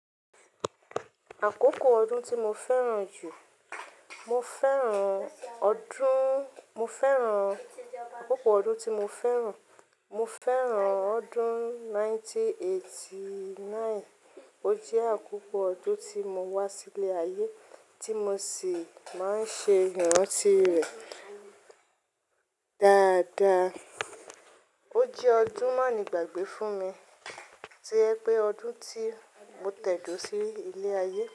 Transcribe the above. Àkókò ọdún tí mo fẹ́ràn jù, mo fẹ́ràn ọdún, mo fẹ́ràn àkókò ọdún tí mo fẹ́ràn, mo fẹ́ràn ọdún ẹgbẹ̀rún kan ó lé ọgọ́rùn-ún mẹ́sàn-án ó lé ọ̀kàndínlọ́gọ́rùn-ún. Ó jẹ́ àkókò ọdún tí mo wá sí ilé ayé tí mo sì máa ń ṣe ìrántí rẹ dáadáa. Ó jẹ́ ọdún má nígbàgbé fún mi. Ti ẹ pé ọdún tí mo tẹ̀dó sí ilé ayé.